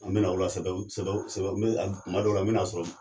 An bɛ na o la sababu sababu sababu kuma dɔw la n bɛ na sɔrɔ.